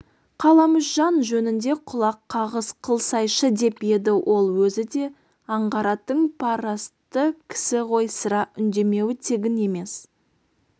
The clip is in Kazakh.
қаламүшжан жөнінде құлақ қағыс қылсайшы деп еді ол өзі де аңғаратын парастты кісі ғой сірә үндемеуі тегін емес